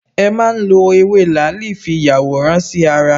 E má n lo Ewé làálì fi yàwòrán sí ara